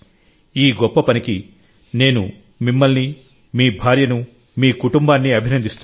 ఈ గొప్ప పనికినేను మిమ్మల్ని మీ భార్యను మీ కుటుంబాన్ని అభినందిస్తున్నాను